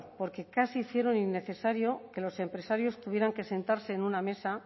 porque casi hicieron innecesario que los empresarios tuvieran que sentarse en una mesa